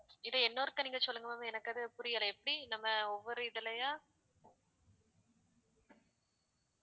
இதை இன்னொருக்கா நீங்க சொல்லுங்க ma'am எனக்கு அது புரியல எப்படி நம்ம ஒவ்வொரு இதுலயும்